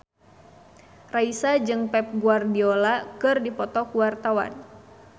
Raisa jeung Pep Guardiola keur dipoto ku wartawan